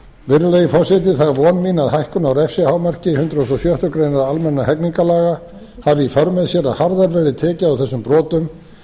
virðulegi forseti það er von mín að hækkun á refsihámarki hundrað og sjöttu grein almennra hegningarlaga hafi í för með sér að harðar verði tekið á þessum brotum